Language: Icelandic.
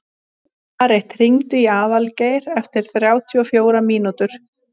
Marit, hringdu í Aðalgeir eftir þrjátíu og fjórar mínútur.